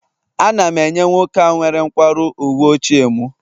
Ana m enye nwoke a nwere nkwarụ uwe ochie m